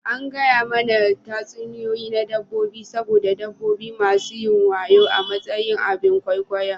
An gaya mana tatsuniyoyi na dabbobi saboda dabbobi masu wayo a matsayin abin ƙwaikwayon.